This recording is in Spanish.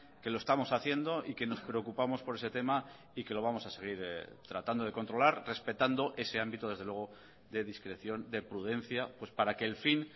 que lo estamos haciendo y que nos preocupamos por ese tema y que lo vamos a seguir tratando de controlar respetando ese ámbito desde luego de discreción de prudencia para que el fin